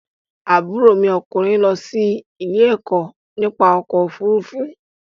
Àbúrò mi ọkùnrin lọ sí ilé-ẹ̀kọ́ nípa ọkọ̀-ofurufú.